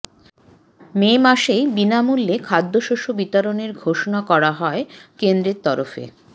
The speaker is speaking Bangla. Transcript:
মে মাসেই বিনামূল্যে খাদ্যশস্য বিতরণের ঘোষণা করা হয় কেন্দ্রের তরফে